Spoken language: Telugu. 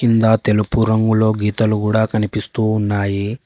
నా తెలుపు రంగులో గీతలు కూడా కనిపిస్తూ ఉన్నాయి.